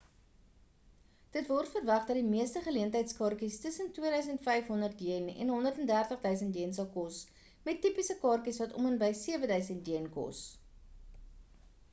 dit word verwag dat die meeste geleentheidskaartjies tussen ¥2 500 en ¥130 000 sal kos met tipiese kaartjies wat om en by ¥7 000 kos